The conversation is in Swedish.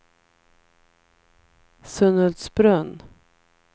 Sunhultsbrunn